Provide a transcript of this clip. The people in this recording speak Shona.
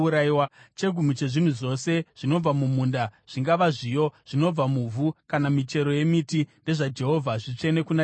“ ‘Chegumi chezvinhu zvose zvinobva mumunda, zvingava zviyo zvinobva muvhu kana michero yemiti, ndezvaJehovha; zvitsvene kuna Jehovha.